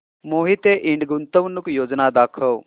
मोहिते इंड गुंतवणूक योजना दाखव